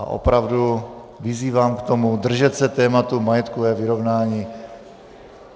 A opravdu vyzývám k tomu, držet se tématu majetkové vyrovnání.